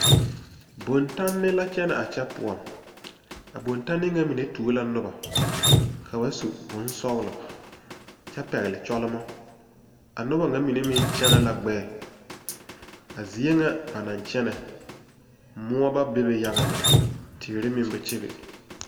Bontanne la kyɛne a kyɛ poɔ, a bontanne ŋa mine tuo la noba ka ba su bonsɔglɔ kyɛ pɛgeli kyolmo,a noba ŋa mine meŋ kyɛne la gbɛɛ a zie ŋa ba naŋ kyɛne., moɔ ba bebe yaga lɛ teere meŋ ba kyɛbe